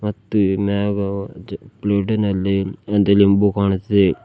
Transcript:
ಮತ್ತು ಈ ಮ್ಯಾಗ ಪ್ಲೇಟಿನಲ್ಲಿ ಒಂದು ಲಿಂಬು ಕಾಣುತ್ತಿದೆ.